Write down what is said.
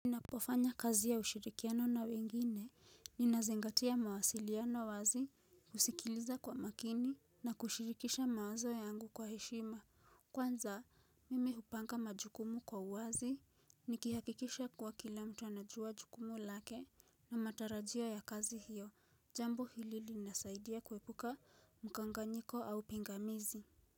Napofanya kazi ya ushirikiano na wengine ninazingatia mawasiliano wazi husikiliza kwa makini na kushirikisha mawazo yangu kwa heshima. Kwanza mimi hupanga majukumu kwa uwazi nikihakikisha kuwa kila mtu anajua jukumu lake na matarajio ya kazi hiyo jambo hili linasaidia kuepuka mkanganyiko au pingamizi.